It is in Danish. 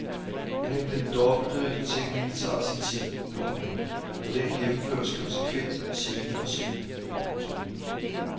Men den dobbelte teknik tager sin tid, komma for den gennemføres konsekvent scene for scene. punktum